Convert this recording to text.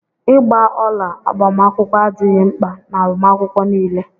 Ịgba ọla agbamakwụkwọ adịghị mkpa n'agbamakwụkwọ niile.